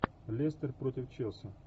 лестер против челси